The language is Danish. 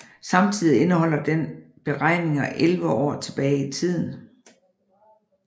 Samtidig indeholder den beregninger 11 år tilbage i tiden